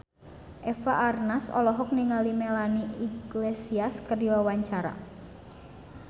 Eva Arnaz olohok ningali Melanie Iglesias keur diwawancara